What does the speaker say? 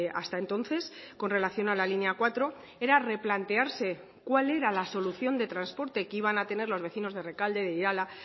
hasta entonces con relación a la línea cuatro era replantearse cuál era la solución de transporte que iban a tener los vecinos de rekalde de irala